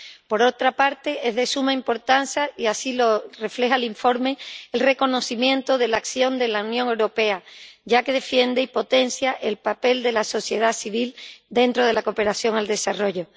Por otra parte, es de suma importancia, y así lo refleja el informe, el reconocimiento de la acción de la Unión Europea, ya que defiende y potencia el papel de la sociedad civil en la cooperación al desarrollo.